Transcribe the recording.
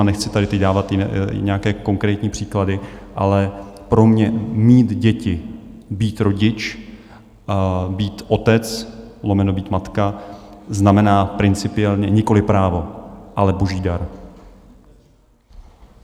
A nechci tady teď dávat nějaké konkrétní příklady, ale pro mě mít děti, být rodič, být otec lomeno být matka znamená principiálně nikoliv právo, ale boží dar.